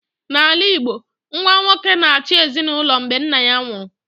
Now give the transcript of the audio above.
N'ala Igbo, nwa nwoke na-achị ezinụlọ mgbe nna nwụrụ